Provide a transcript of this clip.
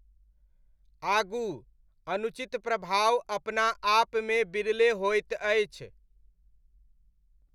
आगू, अनुचित प्रभाव अपना आपमे बिरले होइत अछि।